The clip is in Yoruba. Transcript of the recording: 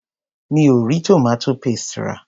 Mi ò rí tomato paste rà.